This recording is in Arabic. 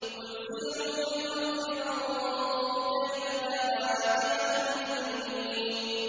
قُلْ سِيرُوا فِي الْأَرْضِ فَانظُرُوا كَيْفَ كَانَ عَاقِبَةُ الْمُجْرِمِينَ